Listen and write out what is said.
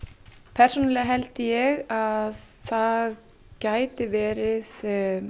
persónulega held ég að það gæti verið